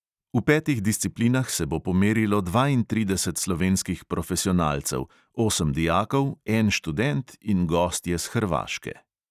V petih disciplinah se bo pomerilo dvaintrideset slovenskih profesionalcev, osem dijakov, en študent in gostje s hrvaške.